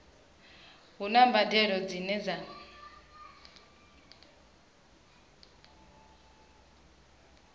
hu na mbadelo dzine dza